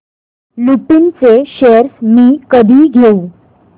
लुपिन चे शेअर्स मी कधी घेऊ